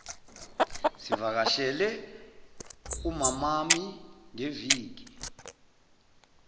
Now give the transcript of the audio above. sivakashele umamami ngeviki